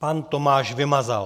Pan Tomáš Vymazal.